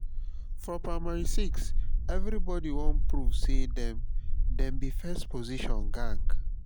for primary six everybody wan prove say dem dem be first position gang.